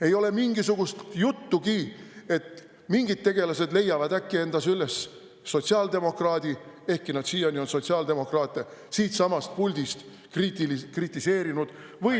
Ei ole mingisugust juttugi, et mingid tegelased leiavad äkki endas üles sotsiaaldemokraadi, ehkki nad siiani on sotsiaaldemokraate siitsamast puldist kritiseerinud, või …